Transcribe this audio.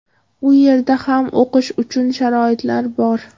U yerda ham o‘qish uchun sharoitlar bor.